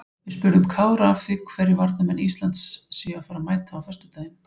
Við spurðum Kára að því hverju varnarmenn Íslands séu að fara að mæta á föstudaginn?